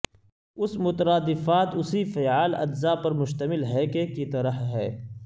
اس مترادفات اسی فعال اجزا پر مشتمل ہے کہ کی طرح ہے